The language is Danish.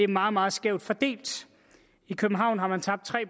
meget meget skævt fordelt i københavn har man tabt tre